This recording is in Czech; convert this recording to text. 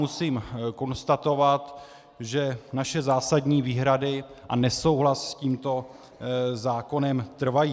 Musím konstatovat, že naše zásadní výhrady a nesouhlas s tímto zákonem trvají.